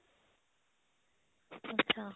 ਅੱਛਾ